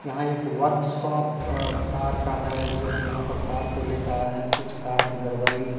यहां एक workshop अ कार का है जो कि यहां पर कार को लेकर आये हैं कुछ कार में गड़बरी --